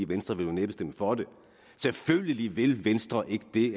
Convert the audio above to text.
venstre vil jo næppe stemme for det selvfølgelig vil venstre ikke det